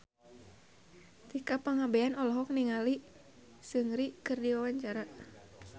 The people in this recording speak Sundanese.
Tika Pangabean olohok ningali Seungri keur diwawancara